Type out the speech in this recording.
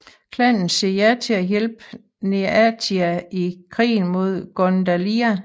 Klanen siger ja til at hjælpe Neathia i krigen mod Gundalia